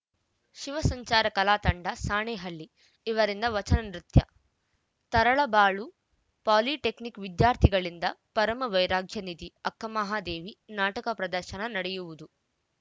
ಶಿವಸಂಚಾರ ಕಲಾತಂಡ ಸಾಣೇಹಳ್ಳಿ ಇವರಿಂದ ವಚನ ನೃತ್ಯ ತರಳಬಾಳು ಪಾಲಿಟೆಕ್ನಿಕ್‌ ವಿದ್ಯಾರ್ಥಿಗಳಿಂದ ಪರಮ ವೈರಾಗ್ಯ ನಿಧಿ ಅಕ್ಕಮಹಾದೇವಿ ನಾಟಕ ಪ್ರದರ್ಶನ ನಡೆಯುವುದು